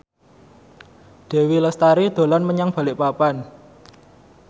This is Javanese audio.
Dewi Lestari dolan menyang Balikpapan